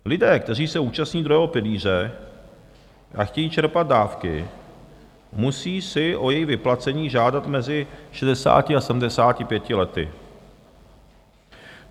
Lidé, kteří se účastní druhého pilíře a chtějí čerpat dávky, si musí o její vyplacení žádat mezi 60 a 75 lety.